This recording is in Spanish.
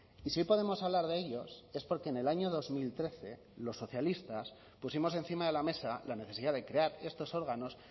y si podemos hablar de ellos es porque en el año dos mil trece los socialistas pusimos encima de la mesa la necesidad de crear estos órganos